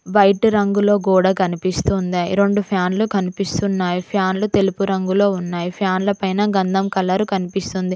White రంగులో కూడా కనిపిస్తుందా రెండు ఫ్యాన్లు కనిపిస్తున్నాయి ఫ్యాన్లు తెలుపు రంగులో ఉన్నాయి ఫ్యాన్ల పైన గంధం కలరు కనిపిస్తుంది.